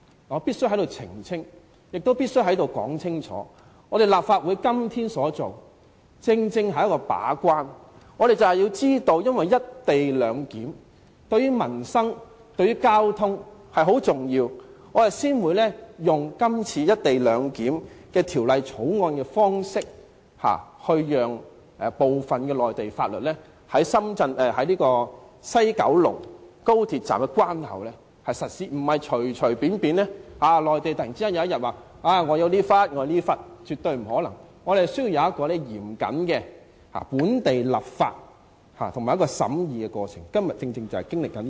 我必須在此澄清，也必須在此說清楚，立法會今天所作的正是為了把關，我們就是知道"一地兩檢"對民生和交通很重要，所以這次才會以制定《廣深港高鐵條例草案》的方式，讓部分內地法律在高鐵西九龍站的關口實施，並非隨便讓內地可以突然佔據某幅土地，絕對不可能，我們需要有嚴謹的本地立法和審議過程，今天我們正是經歷這個過程。